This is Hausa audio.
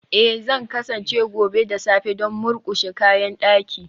Ee, Zan kasance gobe da safe don murƙushe kayan daki